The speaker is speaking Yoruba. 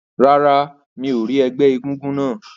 Rárá, mi ò rí ẹgbẹ́ egúngún náà.